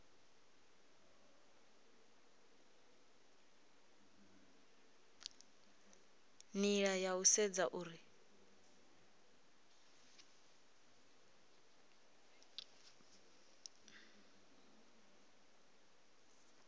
nila ya u sedza uri